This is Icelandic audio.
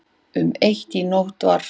Um eitt í nótt var